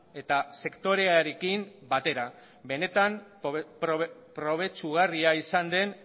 eta sektorearekin batera benetan probetxugarria izan den